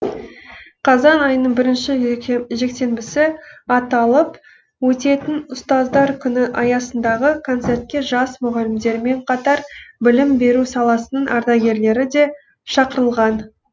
қазан айының бірінші жексенбісі аталып өтетін ұстаздар күні аясындағы концертке жас мұғалімдермен қатар білім беру саласының ардагерлері де шақырылған